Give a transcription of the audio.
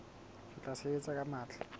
re tla sebetsa ka matla